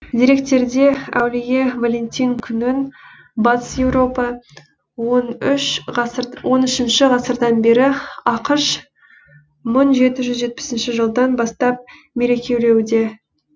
деректерде әулие валентин күнін батыс еуропа он үшінші ғасырдан бері ақш мың жеті жүз жетпісінші жылдан бастап мерекелеуде